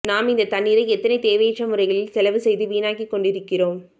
நாம் இந்த தண்ணீரை எத்தனை தேவையற்ற முறைகளில் செலவு செய்து வீணாக்கி கொண்டிருக்கிறோம்